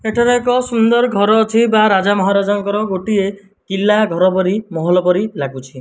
ଏଠାରେ ଏକ ସୁନ୍ଦର ଘର ଅଛି ବା ରାଜା ମହାରାଜଙ୍କର ଗୋଟିଏ କିଲ୍ଲା ଘର ପରି ମହଲ ପରି ଲାଗୁଚି।